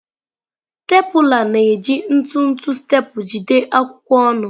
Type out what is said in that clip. Stapụla na-eji ntụtụ staple jide akwụkwọ ọnụ.